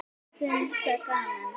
Finnst það gaman.